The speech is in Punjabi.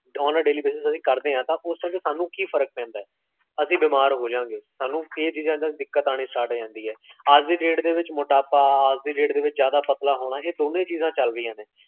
on a daily basis, ਅਸੀਂ ਕਰਦੇ ਹਾਂ ਤਾ ਓਥੇ ਜਾ ਕੇ ਸਾਨੂ ਕੀ ਫ਼ਰਕ ਪੈਂਦਾ ਹੈ? ਅਸੀ ਬੀਮਾਰ ਹੋਜਾਂਗੇ, ਸਾਨੂ ਇਹ ਚੀਜਾਂ ਵਿੱਚ ਦਿੱਕਤ ਆਨੀ start ਹੋਜਾਂਦੀ ਹੈ ਅੱਜ ਦੀ date ਦੇ ਵਿੱਚ ਮੋਟਾਪਾ, ਅੱਜ ਦੀ date ਦੇ ਵਿੱਚ ਜਾਦਾ ਪਤਲਾ ਹੋਣਾ, ਇਹ ਦੋਨੋ ਹੀ ਚੀਜ਼ਾਂ ਚਾਲ੍ਰਾਹੀਆਂ ਨੇ